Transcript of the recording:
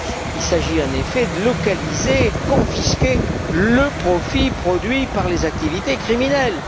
Il s'agit en effet de localiser et de confisquer le profit produit par les activités criminelles.